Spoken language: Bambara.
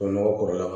Dɔnɔgɔ kɔrɔlen